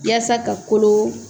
yaasa ka kolo.